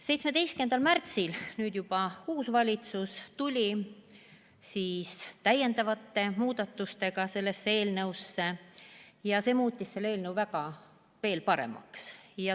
17. märtsil tuli juba uus valitsus täiendavate muudatustega ja see muutis selle eelnõu veel paremaks.